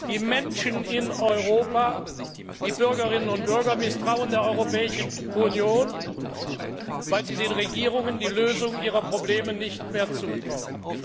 Die Menschen in Europa, die Bürgerinnen und Bürger, misstrauen der Europäischen Union, weil sie den Regierungen die Lösung ihrer Probleme nicht mehr zutrauen.